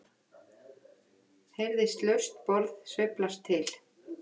heyrðist laust borð sveiflast til.